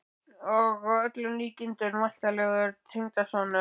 Og að öllum líkindum væntanlegur tengdasonur!